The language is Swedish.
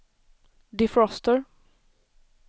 defroster